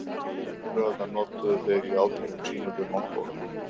Eldflaugarnar notuðu þeir í átökum sínum við Mongóla.